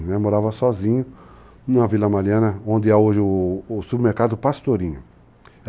Eu morava sozinho na uma Vila Mariana, onde hoje é o supermercado Pastorinho.